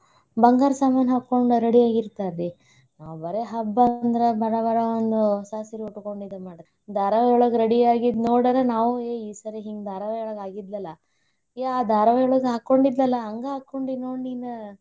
ಬಂಗಾರ ಸಾಮಾನ್ ಹಾಕೊಂಡು ರೆಡಿ ಆಗಿರ್ತಾರರಿ. ಯಾವ್ಯಾರ ಹಬ್ಬಾ ಬಂದ್ರ ಬರಾಬರಾ ಅನ್ನೋ ಹೊಸಾ ಸೀರಿ ಉಟ್ಕೊಂ ಇದ್ ಮಾಡ್ತಾರಿ. ಧಾರಾವಾಹಿಯೊಳಗ ರೆಡಿ ಆಗಿದ್ ನೋಡ್ಯಾರ ನಾವೂ ಏ ಈ ಸಾರಿ ಹಿಂಗ್ ಧಾರಾವಾಯಿಯೊಳಗ ಆಗಿದ್ಲಲಾ, ಏ ಧಾರಾವಾಹಿಯೊಳಗ ಹಾಕೊಂಡಿದ್ಲಲಾ ಹಂಗ ಹಾಕೊಂಡಿ ನೋಡ ನೀನ.